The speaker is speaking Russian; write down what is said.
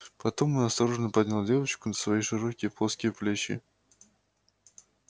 потом он осторожно поднял девочку на свои широкие плоские плечи